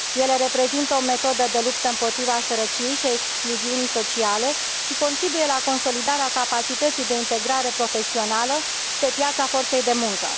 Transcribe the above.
Ele reprezintă o metodă de luptă împotriva sărăciei și a excluziunii sociale și contribuie la consolidarea capacității de integrare profesională și pe piața forței de muncă.